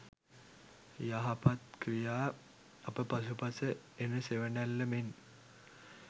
යහපත් ක්‍රියා අප පසුපස එන සෙවණැල්ල මෙන්